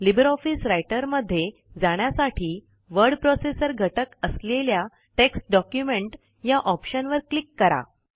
Libre office writer मध्ये जाण्यासाठी word processor घटक असलेल्या टेक्स्ट डॉक्युमेंट या ऑप्शनवर क्लिक करा